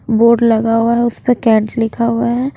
Board लगा हुआ है उस पे कैट लिखा हुआ है।